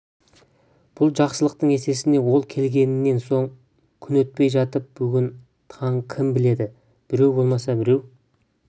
бұл жақсылықтың есесіне ол келгеннен соң күн өтпей жатып бүгін таң кім біледі біреу болмаса біреу